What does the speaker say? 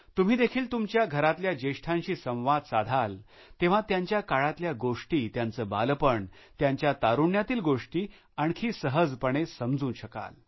तुम्ही देखील तुमच्या घरातल्या ज्येष्ठांशी संवाद साधाल तेव्हा त्यांच्या काळातल्या गोष्टी त्याचं बालपण त्यांच्या तारुण्यातील गोष्टी आणखी सहजपणे समजू शकाल